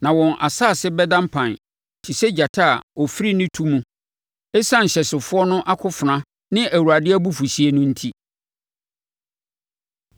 Na wɔn asase bɛda mpan te sɛ gyata a ɔfiri ne tu mu ɛsiane ɔhyɛsofoɔ no akofena ne Awurade abufuhyeɛ no enti.